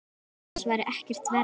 Annars væri ekkert verra.